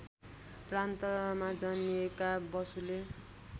प्रान्तमा जन्मिएका बसुले